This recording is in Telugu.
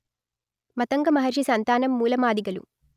మతంగ మహర్షి సంతానం మూల మాదిగలు